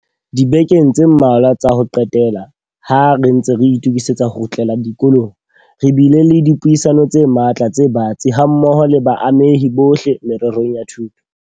Dibekeng tse mmalwa tsa ho qetela, ha re ntse re itokisetsa ho kgutlela dikolong, re bile le dipuisano tse matla tse batsi hammoho le baamehi bohle mererong ya thuto.